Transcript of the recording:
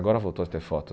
Agora voltou a ter foto.